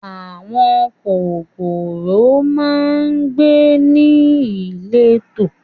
Àwọn kòkòrò máa ń gbé ní ìletò